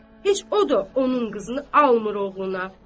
Heç o da onun qızını almır oğluna.